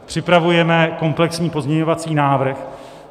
Připravujeme komplexní pozměňovací návrh.